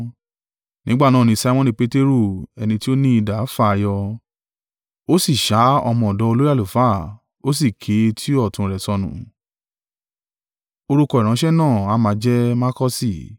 Nígbà náà ni Simoni Peteru ẹni tí ó ní idà, fà á yọ, ó sì ṣá ọmọ ọ̀dọ̀ olórí àlùfáà, ó sì ké etí ọ̀tún rẹ̀ sọnù. Orúkọ ìránṣẹ́ náà a máa jẹ́ Makọọsi.